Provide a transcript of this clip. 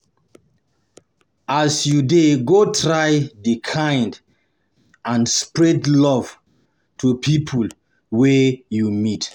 As you de go try de kind and spread love to pipo wey you meet